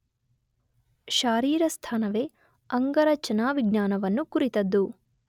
ಶಾರೀರಸ್ಥಾನವೇ ಅಂಗರಚನಾವಿಜ್ಞಾನವನ್ನು ಕುರಿತದ್ದು.